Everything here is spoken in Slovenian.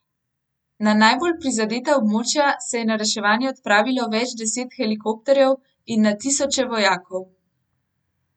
Na najbolj prizadeta območja se je na reševanje odpravilo več deset helikopterjev in na tisoče vojakov.